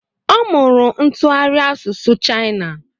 Ọ mụrụ ntụgharị asụsụ Chaina